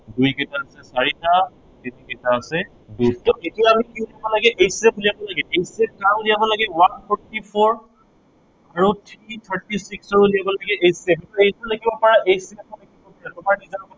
দুই কেইটা আছে, চাৰিটা, তিনি কেইটা আছে দুটা। so এতিয়া আমি কি কৰিব লাগে HCF উলিয়াব লাগে, HCF কাৰ উলিয়াব লাগে one forty four আৰু three thirty six কি উলিয়াব লাগে HCF এইটো এনেকেও লিখিব পাৰা